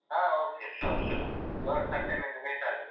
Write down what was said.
ಹ okay sure sure ಯಾವಾಗ Sunday mini meet ಆಗುವ.